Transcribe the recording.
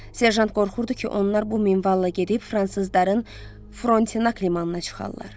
Serjant qorxurdu ki, onlar bu minvalla gedib fransızların Frontenac limanına çıxarlar.